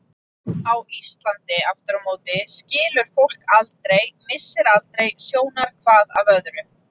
Á Íslandi aftur á móti skilur fólk aldrei, missir aldrei sjónar hvað af öðru.